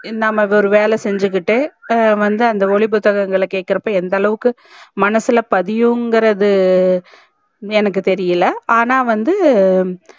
நம்ப ஒரு வேல செஞ்சிகிட்டே அ வந்து அந்த ஒலி புத்தகங்கள் ல கேக்ரப்போ வந்து எந்தளவுக்கு மனசுல பதியும் இங்கர்து என்னக்கு தெரியல ஆனா வந்து